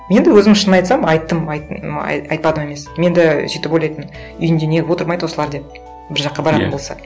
мен де өзім шын айтсам айттым айттым айтпадым емес мен де сөйтіп ойлайтынмын үйінде не қылып отырмайды осылар деп бір жаққа баратын болса